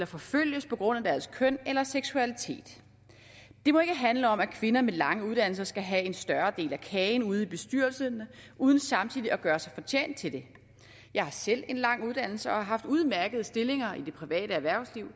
forfølges på grund af deres køn eller seksualitet den må ikke handle om at kvinder med lange uddannelser skal have en større del af kagen ude i bestyrelserne uden samtidig at gøre sig fortjent til det jeg har selv en lang uddannelse og har haft udmærkede stillinger i det private erhvervsliv og